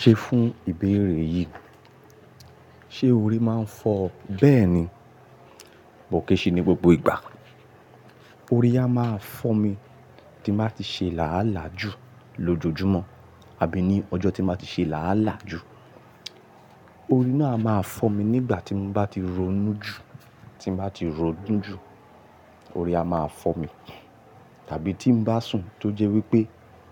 Ṣe fún ìbéèrè yìí, ṣe orí máa ń fọ bẹ́ẹ̀ ni? Bó kéese ni gbogbo ìgbà. Orí á máa fọ́ mi tí n bàá ti ṣe làálàá ju lójoojúmọ́ àbí ní ọjọ́ tí màá ti ṣe làálàá ju. Orí náà a máa fọ́ mi nígbà tí mo bá ti ronú ju, tí n bàá ti rọnu ju, orí á máa fọ́ mi. Tàbí tí n bá sùn tó jẹ́ wípé